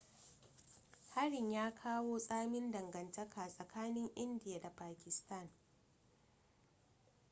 harin ya kawo tsamin dangantaka tsakanin india da pakistan